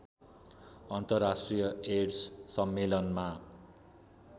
अन्तर्राष्ट्रिय एड्स सम्मेलनमा